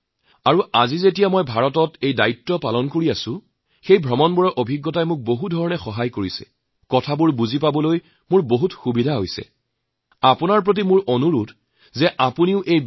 পৰ্যটন খণ্ডত মুল্য তেতিয়াই সম্ভৱ যেতিয়া আমি কেৱল দৰ্শক হিচাপে নহয় এগৰাকী ছাত্ৰৰ দৰে তেওঁলোকৰ সকলো ঠাইৰ বৈশিষ্ট্যক গ্ৰহণ কৰি বুজি আৰু হৃদয়ংগম কৰিবলৈ চেষ্টা কৰোঁ